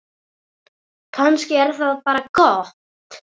Kannski er það bara gott.